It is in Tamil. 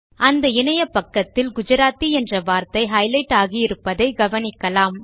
அந்த இணையபக்கத்தில் குஜராத்தி என்ற வார்த்தை ஹைலைட் ஆகியிருப்பதை கவனிக்கலாம்